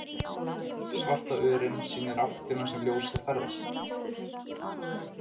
Svarta örin sýnir áttina sem ljósið ferðast.